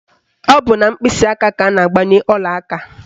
Ọ bụ na mkpịsịaka ka a ga-agbanye ọlaaka